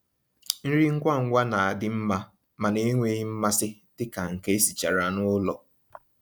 nrí ngwá ngwá ná-àdị́ mmá mànà ènwéghị́ mmàsí dika nkè èsìchàrà n'ụ́lọ̀.